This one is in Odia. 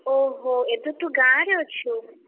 ଓହୋ ଏବେ ତୁ ଗାଁରେ ଅଛୁ?